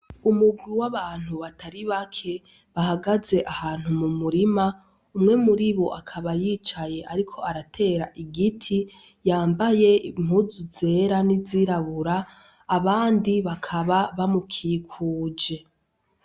Umurwi w'abantu batari bake bahagaze ahantu mu murima, umwe muri bo akaba yicaye ariko aratera igiti yambaye impuzu zera n'izirabura, abandi bakaba bamukikuje.